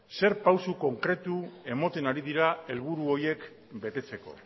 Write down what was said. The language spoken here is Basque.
zer pausu konkretu ematen ari dira helburu horiek betetzeko